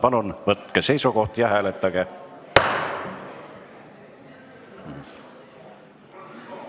Palun võtke seisukoht ja hääletage!